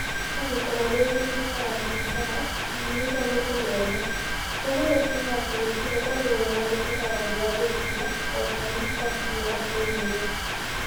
Angĩkorũo nĩ ĩgũtuĩka ya biacara, twagĩrĩirũo nĩ kũmĩona. Ũguo nĩ kuuga atĩ gũtirĩ ũndũ ũreganĩte na ũũmbi wa nyukilia, o ta ũrĩa Costello oigire.